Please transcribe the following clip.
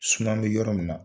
an bɛ yɔrɔ min na.